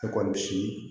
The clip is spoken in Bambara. Ne kɔni si